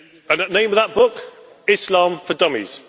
The name of that book Islam for Dummies